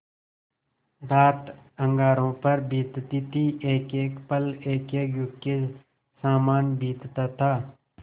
रात अंगारों पर बीतती थी एकएक पल एकएक युग के सामान बीतता था